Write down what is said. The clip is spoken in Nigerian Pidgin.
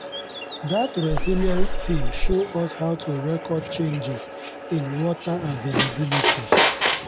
dat resilience team show us how to record changes in water availability